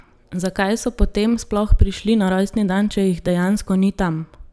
Zakaj so potem sploh prišli na rojstni dan, če jih dejansko ni tam?